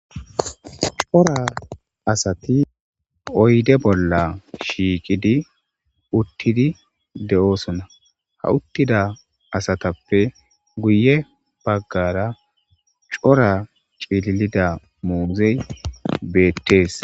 cora asati oyde bolla shiiqidi uttidi de7oosona ha uttida asatappe guye baggara cora cililida muuzey beettees